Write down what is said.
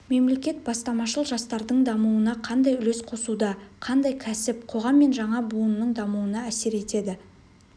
мемлекет бастамашыл жастардың дамуына қандай үлес қосуда қандай кәсіп қоғам мен жаңа буынның дамуына әсер етеді